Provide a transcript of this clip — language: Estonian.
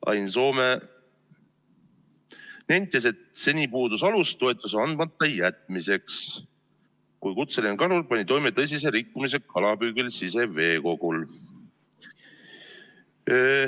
Ain Soome nentis, et seni puudus alus toetuse andmata jätmiseks, kui kutseline kalur pani toime tõsise rikkumise kalapüügil siseveekogul.